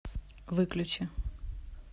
выключи